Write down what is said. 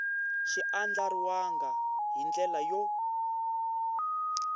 xi andlariwangi hi ndlela yo